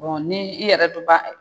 ni i yɛrɛ dun b'a.